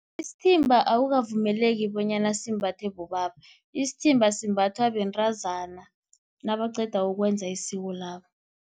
Isithimba akukavumeleki bonyana simbathwe bobaba, isithimba simbathwa bentazana nabaqeda ukwenza isiko labo.